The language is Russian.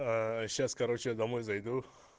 сейчас короче я домой зайду